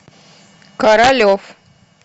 королев